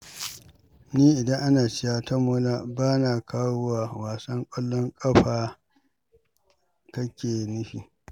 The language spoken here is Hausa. Ni idan kana cewa tamaula, ba na kawowa wasan ƙwallon ƙafa kake nufi